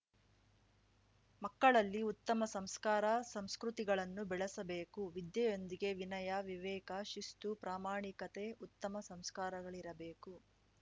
ಮಕ್ಕಳಲ್ಲಿ ಉತ್ತಮ ಸಂಸ್ಕಾರ ಸಂಸ್ಕೃತಿಗಳನ್ನು ಬೆಳೆಸಬೇಕು ವಿದ್ಯೆಯೊಂದಿಗೆ ವಿನಯ ವಿವೇಕ ಶಿಸ್ತುಪ್ರಾಮಾಣಿಕತೆ ಉತ್ತಮ ಸಂಸ್ಕಾರಗಳಿರಬೇಕು